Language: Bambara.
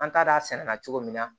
An t'a d'a sɛnɛ na cogo min na